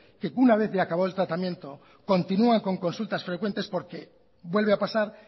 que una vez de acabado el tratamiento continúa con consultas frecuentes porque vuelve a pasar